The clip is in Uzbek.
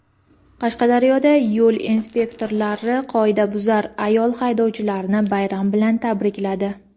Qashqadaryoda yo‘l inspektorlari "qoidabuzar" ayol haydovchilarni bayram bilan tabrikladi.